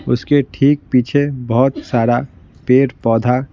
उसके ठीक पीछे बहुत सारा पेड़ पौधा--